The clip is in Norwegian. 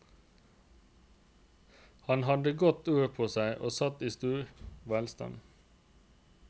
Han hadde godt ord på seg og satt i stor velstand.